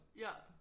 Ja